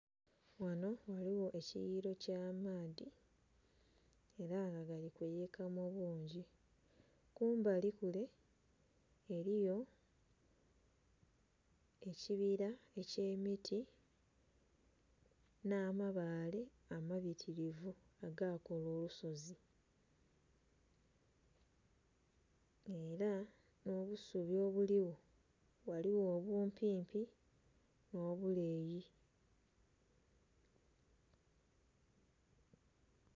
Ghano ghaligho ekiyililo ky'amaadhi ela nga gali kuyiika mu bungi. Kumbali kule eliyo ekibila eky'emiti nh'amabaale amabitilivu agakola olusozi. Ela nh'obusubi obuligho, ghaligho obumpimpi nh'obuleeyi.